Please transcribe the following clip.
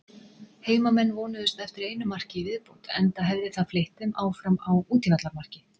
Heimamenn vonuðust eftir einu marki í viðbót enda hefði það fleytt þeim áfram á útivallarmarki.